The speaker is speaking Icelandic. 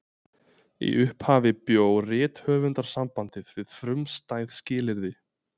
Í upphafi bjó Rithöfundasambandið við frumstæð skilyrði.